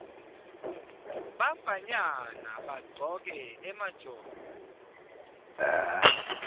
bafanyana bagcoke emajobo